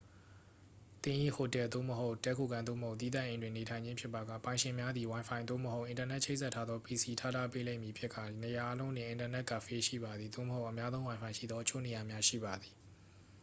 သင်၏ဟိုတယ် သို့မဟုတ် တည်းခိုခန်း သို့မဟုတ် သီးသန့်အိမ်တွင် နေထိုင်ခြင်းဖြစ်ပါက ပိုင်ရှင်များသည် ဝိုင်ဖိုင် သို့မဟုတ် အင်တာနက်ချိတ်ဆက်ထားသော pc ထားထားပေးလိမ့်မည်ဖြစ်ကာ နေရာအားလုံးတွင် အင်တာနက်ကဖေးရှိပါသည် သို့မဟုတ် အများသုံးဝိုင်ဖိုင်ရှိသောအချို့နေရာများ ရှိပါသည်။